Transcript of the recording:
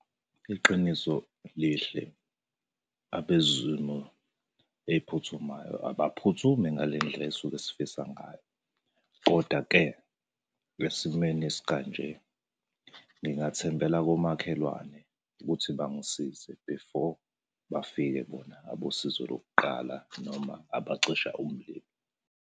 Iqiniso lihle, abezimo ey'phuthumayo abaphuthumi ngale ndlela esisuke sifisa ngayo, koda-ke esimeni esika nje, ngingathembela komakhelwane ukuthi bangisize before bafike bona abosizo lokuqala noma abacisha umlilo.